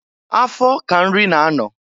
Afọ ka nri na-anọ.